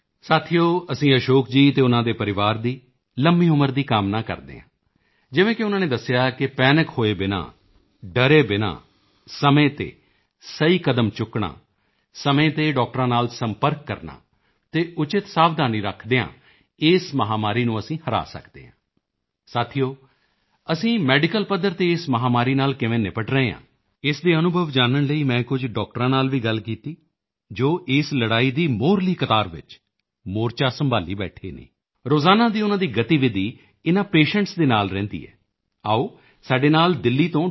ਸਾਥੀਓ ਅਸੀਂ ਅਸ਼ੋਕ ਜੀ ਅਤੇ ਉਨ੍ਹਾਂ ਦੇ ਪਰਿਵਾਰ ਦੀ ਲੰਬੀ ਉਮਰ ਦੀ ਕਾਮਨਾ ਕਰਦੇ ਹਾਂ ਜਿਵੇਂ ਕਿ ਉਨ੍ਹਾਂ ਨੇ ਦੱਸਿਆ ਕਿ ਪੈਨਿਕ ਹੋਏ ਬਿਨਾ ਡਰੇ ਬਿਨਾ ਸਮੇਂ ਤੇ ਸਹੀ ਕਦਮ ਚੁੱਕਣਾ ਸਮੇਂ ਤੇ ਡਾਕਟਰਾਂ ਨਾਲ ਸੰਪਰਕ ਕਰਨਾ ਅਤੇ ਉਚਿਤ ਸਾਵਧਾਨੀ ਰੱਖਦੇ ਹੋਏ ਇਸ ਮਹਾਮਾਰੀ ਨੂੰ ਅਸੀਂ ਹਰਾ ਸਕਦੇ ਹਾਂ ਸਾਥੀਓ ਅਸੀਂ ਮੈਡੀਕਲ ਪੱਧਰ ਤੇ ਇਸ ਮਹਾਮਾਰੀ ਨਾਲ ਕਿਵੇਂ ਨਿਪਟ ਰਹੇ ਹਾਂ ਇਸ ਦੇ ਅਨੁਭਵ ਜਾਨਣ ਲਈ ਮੈਂ ਕੁਝ ਡਾਕਟਰਾਂ ਨਾਲ ਵੀ ਗੱਲ ਕੀਤੀ ਜੋ ਇਸ ਲੜਾਈ ਦੀ ਮੋਹਰਲੀ ਕਤਾਰ ਵਿੱਚ ਮੋਰਚਾ ਸੰਭਾਲੀ ਬੈਠੇ ਨੇ ਰੋਜ਼ਾਨਾ ਦੀ ਉਨ੍ਹਾਂ ਦੀ ਗਤੀਵਿਧੀ ਇਨ੍ਹਾਂ ਪੇਸ਼ੈਂਟਸ ਦੇ ਨਾਲ ਰਹਿੰਦੀ ਹੈ ਆਓ ਸਾਡੇ ਨਾਲ ਦਿੱਲੀ ਤੋਂ ਡਾ